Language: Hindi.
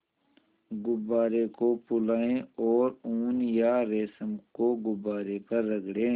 गुब्बारे को फुलाएँ और ऊन या रेशम को गुब्बारे पर रगड़ें